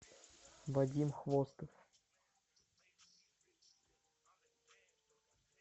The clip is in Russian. вадим хвостов